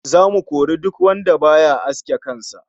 Zamu kori duk wanda baya aske kan sa